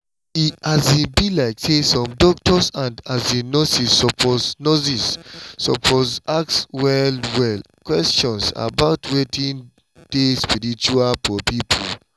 e um be like say doctors and um nurses suppose nurses suppose ask well-well question about wetin dey spiritual for people